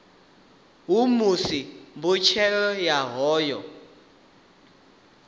ha musi mbetshelo ya hoyu